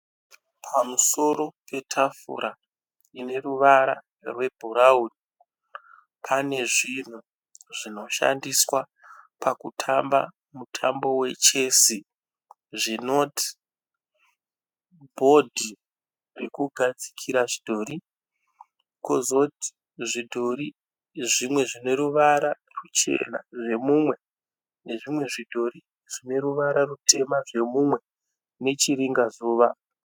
Pamusoro petafura ineruvara rwebhurawuni. Pane zvinhu zvinoshandiswa pakutamba mutambo wechesi. Zvinoti, bhodhi rekugadzikira zvidhori. Pozoti zvidhori zvimwe zvineruvara rwuchena zvemumwe, nezvimwe zvidhori zvineruvara rutema zvemumwe, nechiringa zuva. .